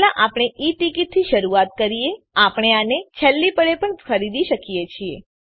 પહેલા આપણે e ticket થી શરૂઆત કરીએ આપણે આને છેલ્લી પળે પણ ખરીદી શકીએ છીએ